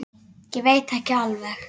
Ég veit ekki alveg.